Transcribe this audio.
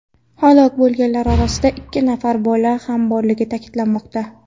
Halok bo‘lganlar orasida ikki nafar bola ham borligi ta’kidlanmoqda.